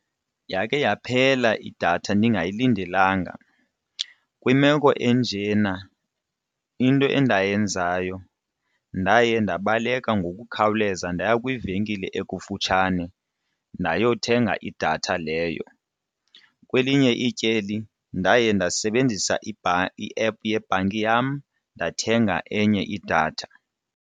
Yakhe yaphela idatha ndingayilindelanga, kwimeko enjena into endayenzayo ndaye ndabaleka ngokukhawuleza ndaya kwivenkile ekufutshane ndayothenga idatha leyo. Kwelinye ityeli ndaye ndasebenzisa i-app yebhanki yam ndathenga enye idatha.